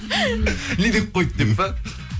не деп қойды деп па